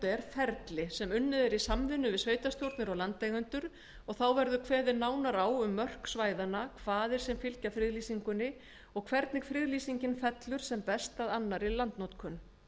síðan ferli sem unnið er í samvinnu við sveitarstjórnir og landeigendur og þá verður kveðið nánar á um mörk svæðanna kvaðir sem fylgja friðlýsingunni og hvernig hún fellur sem best að annarri landnotkun